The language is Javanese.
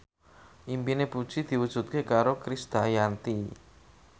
impine Puji diwujudke karo Krisdayanti